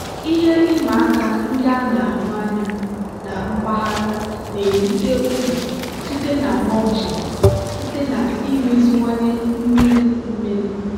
ihe ịma aka ndị a na-ahụ anya na mpaghara na-erite uru site na mulching site na imeziwanye mmiri mmiri.